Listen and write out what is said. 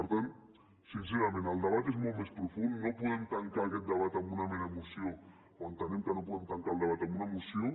per tant sincerament el debat és molt més profund no podem tancar aquest debat amb una mera moció o entenem que no podem tancar el debat amb una moció